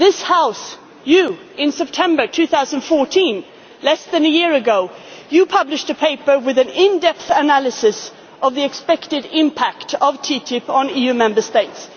same direction. This House you in September 2014, less than a year ago, published a paper with an in depth analysis of the expected impact of TTIP on